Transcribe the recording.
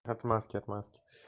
отмазки отмазки